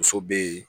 Muso bɛ yen